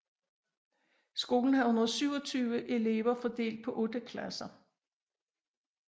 Skolen havde 127 elever fordelt på 8 klasser